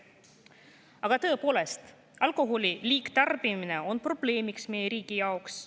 Aga tõepoolest, alkoholi liigtarbimine on probleemiks meie riigi jaoks.